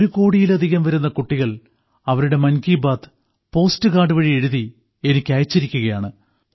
ഒരു കോടിയിലധികം വരുന്ന കുട്ടികൾ അവരുടെ മൻകി ബാത്ത് പോസ്റ്റ് കാർഡ് വഴി എഴുതി എനിക്ക് അയച്ചിരിക്കുകയാണ്